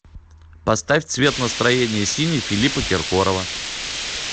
поставь цвет настроения синий филиппа киркорова